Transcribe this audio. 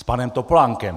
S panem Topolánkem.